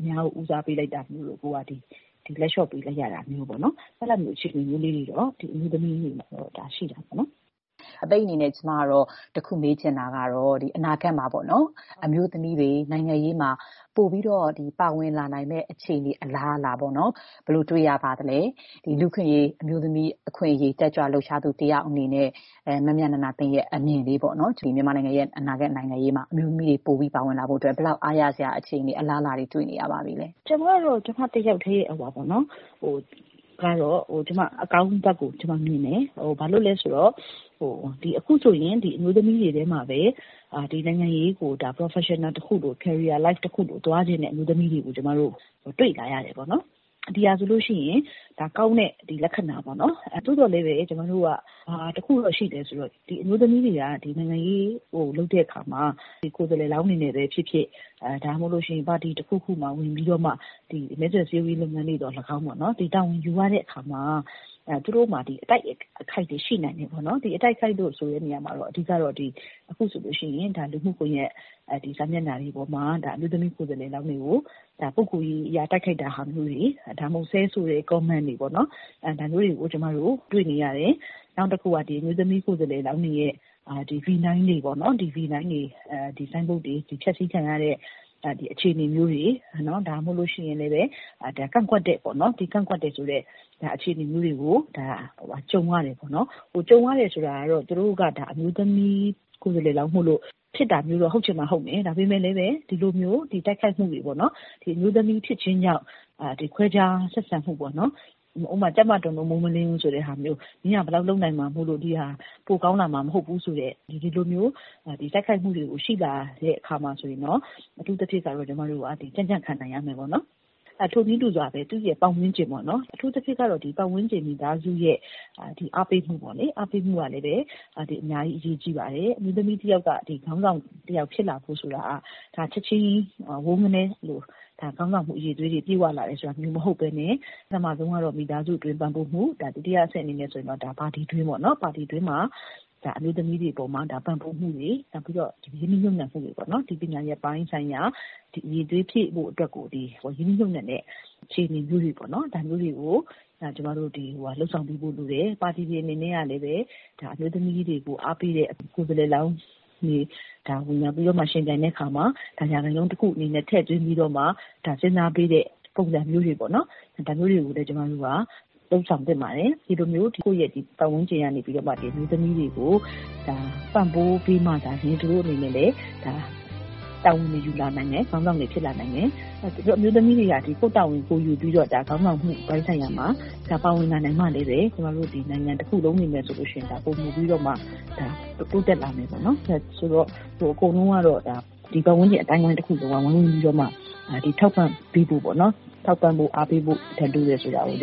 အများကို ဦးစားပေး လိုက်တာမျိုးတို့။ လက်ေ လ ျှာ့ပေးလိုက်ရတာမျိုးတို့။ အဲ့ဒါမျိုး အခြေအနတွေကတော့ အမျိုးသမီးတွေမှာ ရှိနေတာပေါ့နော်။” အပိတ်အနေနဲ့ ကျမ တခုမေးချင်တာကတော့ အနာဂတ်မှာ အမျိုးသမီးတွေ နိုင်ငံရေးမှာ ပိုမို ပါဝင်လာနိုင်မယ့် အခြေအနေ အလားအလာ ဘယ်လို တွေ့ရပါသလဲ။ လူ့အခွင့်အရေး အမျိုးသမီးအခွင့်အရေး တက်ကြွလှုပ်ရှားသူ တယောက်အနေနဲ့ မမြနန္ဒာသင်းရဲ့ အမြင်ပေါ့။ မြန်မာ့နိုင်ငံရေးမှာ အမျိုးသမီးခေါင်းဆောင်တွေ ပိုပြီး ပေါ်ထွက်လာဖို့ ဘယ်လောက် အားရစရာ အခြေအနေ၊ အလားအလာတွေ တွေ့နေရပါပြီလဲရှင့်။ “ကျမ ကတော့ ကျမ တယောက်တည်းအမြင်ကတော့ ကျမ အကောင်းဘက်ကိုမြင်တယ်။ ဘာလို့လဲဆိုတော့ အခုဆိုရင် အမျိုးသမီးတွေထဲမှာပဲ နိုင်ငံရေးကို professional တခုလို၊ carrier life တခုလို သွားချင်တဲ့ အမျိုးသမီးတွေကို ကျမတို့ တွေ့လာရတယ်ပေါ့နော်။ ဒီဟာဆိုလို့ရှိရင် ဒါက ကောင်းတဲ့ လက္ခဏာပေါ့နော်။ သို့သော်လည်းပဲ ကျမတို့က ဘာတခုတော့ ရှိလဲ ဆိုတော့ အမျိုးသမီးတွေက နိုင်ငံရေး လုပ်တဲ့အခါမှာ ကိုယ်စားလှယ်လောင်းတွေ အနေနဲ့ပဲဖြစ်ဖြစ်၊ ပါတီတခုခုမှာ ဝင်ပြီးတော့ မဲဆွယ်စည်းရုံးရေး လုပ်ငန်းတွေ သော်လည်းကောင်းပေါ့။ တာဝန်ယူရတဲ့အခါမှာ သူတို့မှာ အတိုက်အခိုက်တွေ ရှိနိုင်တယ်။ ဒီ အတိုက်အခိုက်လို့ ဆိုတဲ့နေရာမှာတော့ အဓိက ကတော့ အခုဆိုရင် လူမှုကွန်ရက် စာမျက်နှာတွေပေါ်မှာ အမျိုးသမီး ကိုယ်စားလှယ်လောင်းတွေကို ပုဂ္ဂိုလ်ရေးအရ တိုက်ခိုက်တာမျိုးတွေ၊ ဒါမှမဟုတ် ဆဲဆိုတဲ့ ကွန်းမန့်တွေပေါ့နော်။ ဒါမျိုးတွေကို ကျမတို့ တွေ့နေရတယ်။ နောက်တခုက အမျိုးသမီး ကိုယ်စားလှယ်လောင်းတွေရဲ့ ဗီနိုင်းတွေ၊ ဆိုင်းဘုတ်တွေ ဖျက်ဆီးခံရတဲ့ အခြေအနေမျိုးတွေ။ ဒါမှမဟုတ်ရင်လည်း ကန့်ကွက်တယ်ဆိုတဲ့ အခြေအနေမျိုးတွေကို ကြုံရတယ်ပေါ့နော်။ ကြုံရတယ်ဆိုတာက သူတို့က အမျိုးသမီးကိုယ်စားလှယ်လောင်း မိုလို့ ဆိုပြီး ဖြစ်တာမျိုးတော့ ဟုတ်ချင်မှဟုတ်မယ်။ ဒါပေမဲ့လည်းပဲ ဒီလိုတိုက်ခိုက်မှုတွေပေါ့နော်။ အမျိုးသမီးဖြစ်ခြင်းကြောင့် ခွဲခြား ဆက်ဆံမှုပေါ့။ ဥပမာ ကြက်မတွန်လို့ မိုးမလင်းဘူးဆိုတဲ့ ဟာမျိုး။ မင်းက ဘယ်လောက် လုပ်နိုင်မှာမို့လို့ ဒီဟာက ပိုကောင်းလာမှာ မဟုတ်ဘူးဆိုတဲ့ ဒီလိုမျိုး တိုက်ခိုက်မှုတွေ ရှိလာတဲ့အခါမှာ အထူးသဖြင့် ကျမတို့က ကြံ့ကြံ့ခံနိုင်ရမယ်ပေါ့နော်။ ထိုနည်းတူစွာပဲ ပတ်ဝန်းကျင်ပေါ့။ အထူးသဖြင့်ကတော့ ပတ်ဝန်းကျင် မိသားစုရဲ့ အားပေးမှုကလည်းပဲ အများကြီး အရေးကြီးပါတယ်။ အမျိုးသမီးတယောက်က ခေါင်းဆောင် တယောက်ဖြစ်လာဖို့ဆိုတာ ချက်ချင်းကြီး ဝုန်းခနဲ ခေါင်းဆောင်မှု အရည်အသွေးတွေ ပြည့်ဝလာတယ်ဆိုတာမျိုး မဟုတ်ဘဲနဲ့ ပထမဆုံးကတော့ မိသားစုတွင်း ပံ့ပိုးမှု။ ဒုတိယအဆင့် အနေနဲ့ဆိုရင်တော့ ပါတီတွင်းပေါ့။ ပါတီတွင်းမှာ အမျိုးသမီးတွေ အပေါ်မှာ ပံ့ပိုးမှုတွေ၊ ရင်းနှီးမြှုပ်နှံမှုတွေ၊ ပညာရပ်ပိုင်းဆိုင်ရာ အရည်အသွေး ဖြည့်ဖို့အတွက်ကို ရင်းနှီးမြှုပ်နှံတဲ့ အခြေအနေမျိုးတွေ ပေါ့နော်။ ဒါမျိုးတွေကို ကျမတို့ လုပ်ဆောင်ပေးဖို့ လိုတယ်။ ပါတီ တွေ အနေနဲ့ကလည်း အမျိုးသမီးတွေကို အားပေးတဲ့ ကိုယ်စားလှယ်လောင်းတွေ ဝင်ရောက်ယှဉ်ပြိုင်တဲ့ နေရာမှာ ရာခိုင်နှုန်းတခု အနေနဲ့ ထည့်ပြီးတော့မှ စဉ်းစားပေးတဲ့ ပုံစံမျိုးတွေပေ့ါ။ ဒါမျိုးတွေကိုလည်း ကျမတို့က လုပ်ဆောင်သင့်ပါတယ်။ ဒီလိုမျိုး ကိုယ့်ရဲ့ ပတ်ဝန်းကျင်ကနေပြီးတော့မှ အမျိုးသမီးတွေကို ပံ့ပိုးပေးမှသာလ ျှင် သူတို့အနေနဲ့ တာဝန်ယူလာနိုင်မယ်။ ခေါင်းဆောင်တွေ ဖြစ်လာနိုင်မယ်။ အမျိုးသမီးတွေကလည်း ကိုယ့်တာဝန်ကိုယ် ယူပြီးတော့ ခေါင်းဆောင်မှုပိုင်း ဆိုင်ရာမှာ ပါဝင်လာနိုင်မှလည်းပဲ ကျမတို့ နိုင်ငံတခုလုံး အနေနဲ့ဆိုရင်တော့ ပိုမိုပြီးတော့မှ တိုးတက်လာမယ်ပေါ့နော်။ ဆိုတော့ အကုန်လုံးကတော့ ဒီပတ်ဝန်းကျင် အသိုင်းအဝိုင်း တခုလုံးကတော့ ဝိုင်းဝန်းပြီးတော့မှ ထောက်ပံ့ပေးဖို့၊ အားပေးဖို့ လိုတယ်ဆိုတာကိုလ